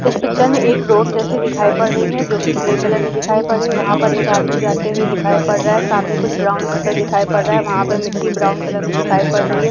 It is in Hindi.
इस पिक्चर में एक रोड जैसी दिखाई पड़ रही है जो की ग्रे कलर में दिखाई पड़ रही है। वहाँ पर एक आदमी जाते हुए दिखाई पड़ रहा है। सामने कुछ ग्राउंड जैसा दिखाई पड़ रहा है। वहाँ पे मिट्टी ब्राउन कलर में दिखाई पड़ रही है।